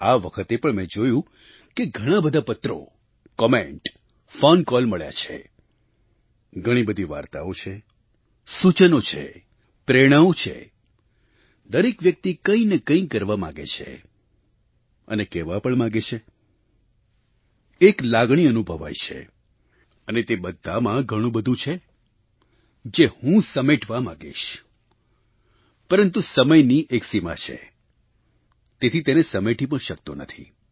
આ વખતે પણ મેં જોયું કે ઘણા બધા પત્રો કૉમેન્ટ ફૉન કૉલ મળ્યા છે ઘણી બધી વાર્તાઓ છે સૂચનો છે પ્રેરણાઓ છે દરેક વ્યક્તિ કંઈ ને કંઈ કરવા માગે છે અને કહેવા પણ માગે છે એક લાગણી અનુભવાય છે અને તે બધાંમાં ઘણું બધું છે જે હું સમેટવા માગીશ પરંતુ સમયની એક સીમા છે તેથી તેને સમેટી પણ શકતો નથી